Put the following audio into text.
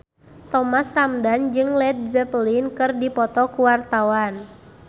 Thomas Ramdhan jeung Led Zeppelin keur dipoto ku wartawan